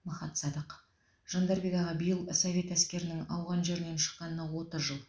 махат садық жандарбек аға биыл совет әскерінің ауған жерінен шыққанына отыз жыл